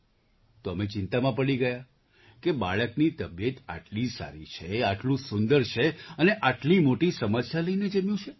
તો અમે ચિંતા પડી ગયાં કે બાળકની તબિયત આટલી સારી છે આટલું સુંદર છે અને આટલી મોટી સમસ્યા લઈને જન્મ્યું છે